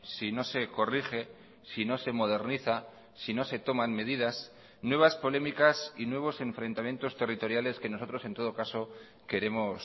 si no se corrige si no se moderniza si no se toman medidas nuevas polémicas y nuevos enfrentamientos territoriales que nosotros en todo caso queremos